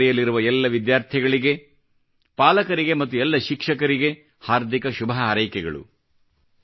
ಪರೀಕ್ಷೆ ನೀಡಲಿರುವ ಎಲ್ಲ ವಿದ್ಯಾರ್ಥಿಗಳಿಗೆ ಪಾಲಕರಿಗೆ ಮತ್ತು ಎಲ್ಲ ಶಿಕ್ಷಕರಿಗೆ ಹಾರ್ದಿಕ ಶುಭ ಹಾರೈಕೆಗಳು